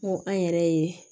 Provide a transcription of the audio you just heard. N go an yɛrɛ ye